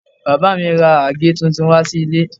Bàbá mi ra àgé tuntun wá sí ilé